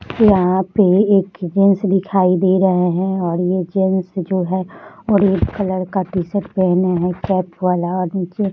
यहाँ पे एक जेन्स दिखाई दे रहे है और ये जेन्स जो है रेड कलर का टी-शर्ट पहने है कैप वाला और नीचे --